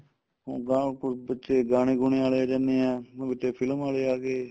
ਹੁਣ ਬਾਹਰੋ ਕੁੱਝ ਪਿੱਛੇ ਗਾਣੇ ਗੁਣੇ ਵਾਲੇ ਆ ਜਾਂਦੇ ਏ ਹੁਣ ਵਿੱਚ ਏ film ਵਾਲੇ ਆ ਗਏ